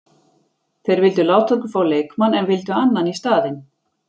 Þeir vildu láta okkur fá leikmann en vildu annan í staðinn.